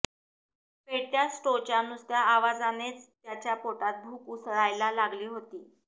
पेटत्या स्टोच्या नुसत्या आवाजानेच त्याच्या पोटात भूक उसळायला लागली होती